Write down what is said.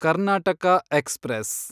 Karnataka express